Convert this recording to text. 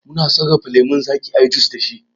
Mu na sarrafa lemon zaki ayi jus da shi